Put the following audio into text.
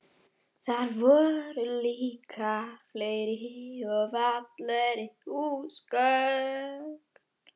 Þar voru líka fleiri og fallegri húsgögn.